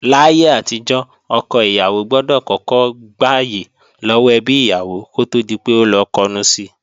Láyé àtijọ́, ọkọ ìyàwó gbọdọ̀ kọ́kọ́ gbàyè lọ́wọ́ ẹbí ìyàwó kó tó di pé ó lọ kọnu si